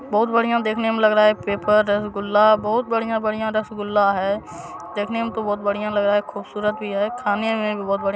बहुत बढ़िया देखने में लग रहा है पेपर रसगुल्ला बहुत बढ़िया-बढ़िया रसगुल्ला है देखने में तो बहुत बढ़िया लग रहा है खूबसूरत भी है खाने में भी बहुत बढ़िया---